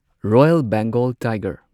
royal Bengal tiger